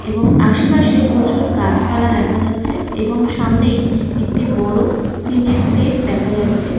এবং আশেপাশে প্রচুর গাছপালা দেখা যাচ্ছে এবং সামনেই একটি বড় টিন -এর সেট দেখা যাচ্ছে।